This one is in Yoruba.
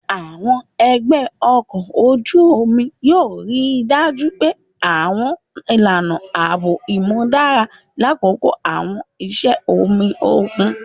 Àwọn ẹlẹgbẹ ọkọ oju omi yoo rii daju àwọn ilana aabo imudara lakoko àwọn iṣẹ omi okun.